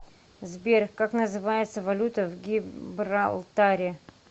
сбер как называется валюта в гибралтаре